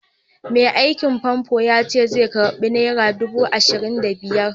Mai aikin famfo yace zai karɓi nera dubu ashirin da biyar.